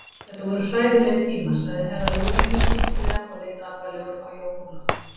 Þetta voru hræðilegir tímar, sagði Herra Luigi skyndilega og leit alvarlegur á Jón Ólaf.